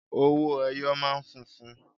Owó ẹyọ máa ń funfun.